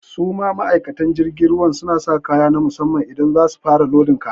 Su ma ma'aikatan jirgin ruwan, su na sa kaya na musamman in za su fara lodin kaya.